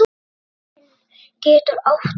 Tilraun getur átt við